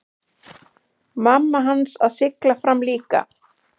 Mamma hans að sigla fram líka.